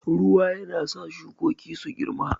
Ruwa yana sa shukoki su girma.